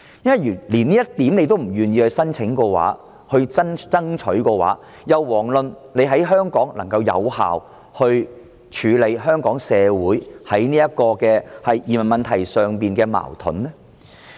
如果連這一點政府都不願意提出，不去爭取的話，那就更遑論有效處理香港社會就移民問題而出現的矛盾。